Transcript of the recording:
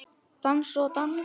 Dansa og dansa.